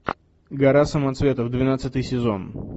гора самоцветов двенадцатый сезон